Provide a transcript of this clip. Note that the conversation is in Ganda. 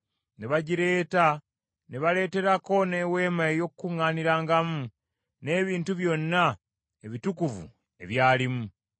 ne bagireeta, ne baleeterako n’Eweema ey’Okukuŋŋaanirangamu n’ebintu byonna ebitukuvu ebyalimu.